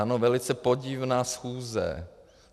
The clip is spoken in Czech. Ano, velice podivná schůze.